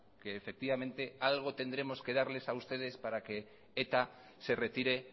que efectivamente algo tendremos que darles a ustedes para que eta se retire